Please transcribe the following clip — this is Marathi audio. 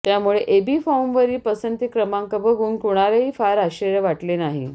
त्यामुळे एबी फॉर्मवरील पसंती क्रमांक बघून कुणालाही फार आश्चर्य वाटले नाही